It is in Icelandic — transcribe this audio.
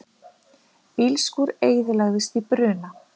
Bílskúr eyðilagðist í bruna